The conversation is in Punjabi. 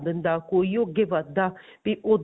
ਬੰਦਾ ਕੋਈ ਓ ਅੱਗੇ ਵੱਧਦਾ ਵੀ ਉੱਦਾਂ